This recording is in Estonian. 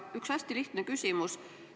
Mul on üks hästi lihtne küsimus.